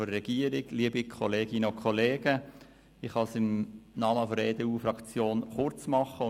Ich kann es im Namen der EDU-Fraktion kurz machen.